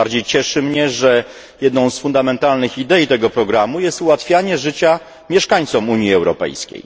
Tym bardziej cieszy mnie, że jedną z fundamentalnych idei tego programu jest ułatwianie życia mieszkańcom Unii Europejskiej.